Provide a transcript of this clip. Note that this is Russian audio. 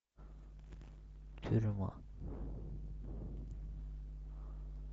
тюрьма